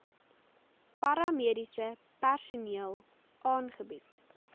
paramediese personeel aangebied